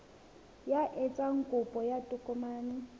ya etsang kopo ya tokomane